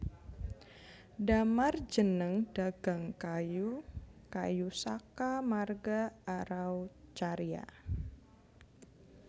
Damar jeneng dagang kayu kayu saka marga Araucaria